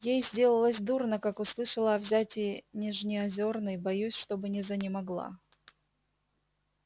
ей сделалось дурно как услышала о взятии нижнеозерной боюсь чтобы не занемогла